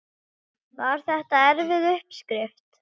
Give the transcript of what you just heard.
Hérna norður úr skörðunum, svarar karlinn.